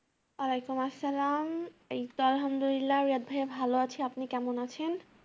ওয়ালেকুম আসসালাম। হামদুলিল্লাহ ভালো আছি। আপনি কেমন আছেন?